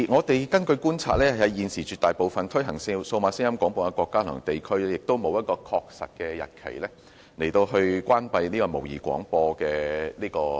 根據觀察，現時絕大多數推行數碼廣播的國家及地區均沒有承諾在某個確實日期終止模擬聲音廣播服務。